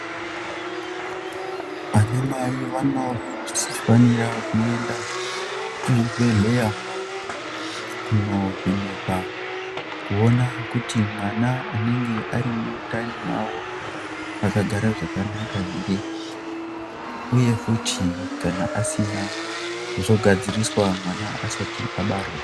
Anamai vanofanira kuenda kuzvibhedhleya kunovhenekwa kuona kuti mwana anenhe ari mwundani mwavo akagara zvakanaka here, uye futi kana asina zvogadziriswa mwana asati abarwa.